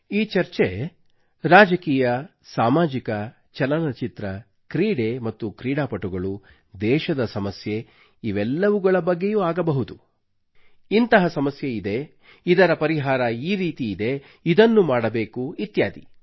ಈ ಚರ್ಚೆಯು ರಾಜಕೀಯ ಸಾಮಾಜಿಕ ಚಲನಚಿತ್ರ ಕ್ರೀಡೆ ಮತ್ತು ಕ್ರೀಡಾಪಟುಗಳು ದೇಶದ ಸಮಸ್ಯೆ ಇವೆಲ್ಲವುಗಳ ಬಗ್ಗೆಯೂ ಆಗಬಹುದು ಇಂತಹ ಸಮಸ್ಯೆ ಇದೆ ಇದರ ಪರಿಹಾರ ಈ ರೀತಿ ಇದೆ ಇದನ್ನು ಮಾಡಬೇಕು ಇತ್ಯಾದಿ